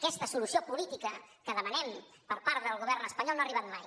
aquesta solució política que demanem per part del govern espanyol no ha arribat mai